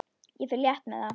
Ég fer létt með það.